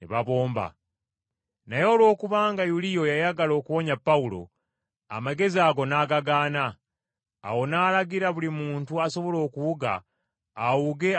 Naye olwokubanga Yuliyo yayagala okuwonya Pawulo, amagezi ago n’agagaana. Awo n’alagira buli muntu asobola okuwuga awuge alage ku lukalu,